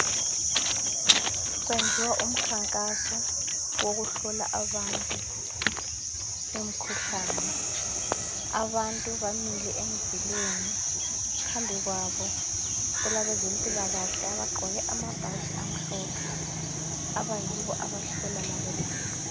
Kwenziwa umkhankaso wokuhlola abantu imikhuhlane abantu bamile emzileni phambi kwabo kulabezempilakahle abagqoke amabhatshi amhlophe abayibo abahlola labo bantu.